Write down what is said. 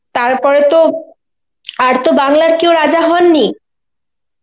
তারপরে তো আর তো বাংলার কেউ রাজা হননি.